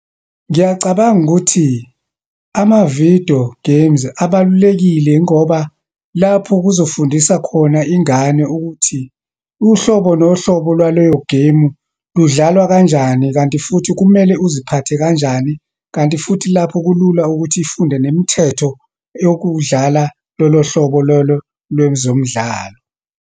Ngiyacabanga ukuthi ama-video games, abalulekile yingoba lapho kuzofundisa khona ingane ukuthi uhlobo nohlobo lwaleyogemu ludlalwa kanjani, kanti futhi kumele uziphathe kanjani, kanti futhi lapho kulula ukuthi ifunde nemithetho yokudlala lolohlobo lolo lwezomdlalo.